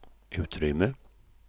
utrymme